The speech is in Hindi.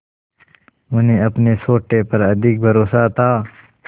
उन्हें अपने सोटे पर अधिक भरोसा था